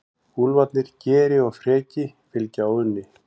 Úlfarnir Geri og Freki fylgja Óðni.